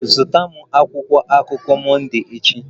Zụta m akwụkwọ akụkọ Monday echi!